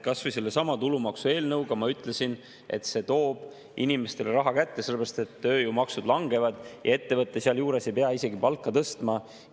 Kas või sellesama tulumaksu eelnõu puhul ma ütlesin, et see toob inimestele rohkem raha kätte, sellepärast et tööjõumaksud langevad, ettevõtja sealjuures ei pea isegi palka tõstma.